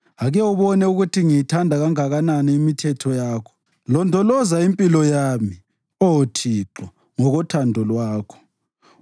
Ake ubone ukuthi ngiyithanda kanganani imithetho yakho; londoloza impilo yami, Oh Thixo, ngokothando lwakho.